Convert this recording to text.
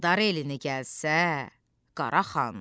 Dağıdar elini gəlsə Qara xan.